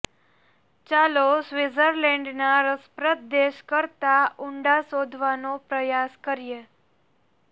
ચાલો સ્વિટ્ઝર્લૅન્ડના રસપ્રદ દેશ કરતાં ઊંડા શોધવાનો પ્રયાસ કરીએ